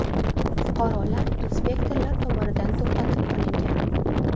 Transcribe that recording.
Fuqarolar inspektorlar tomonidan to‘xtatib qolingan.